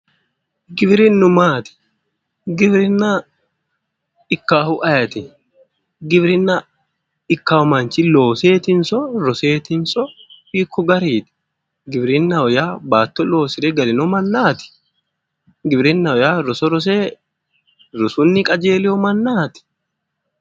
Giwirinnu maati giwirinna ikkaahu ayeti giwirinna ikkawo manchi looseetinso roseetinso hiikko gariiti giwirinna yaa baatto loosire galino mannaati giwirinnaho yaa roso rose rosunni qajeelewo mannaati